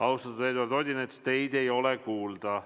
Austatud Eduard Odinets, teid ei ole kuulda.